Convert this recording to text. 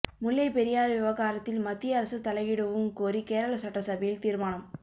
முல்லைப் பெரியாறு விவகாரத்தில் மத்திய அரசு தலையிடவும் கோரி கேரள சட்டசபையில் தீர்மானம்